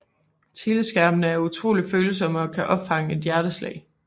Teleskærmene er utroligt følsomme og kan opfange et hjerteslag